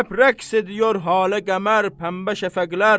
Həp rəqs ediyor halə-qəmər, pəmbə şəfəqlər.